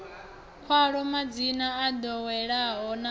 khaḽo madzina o ḓoweleaho na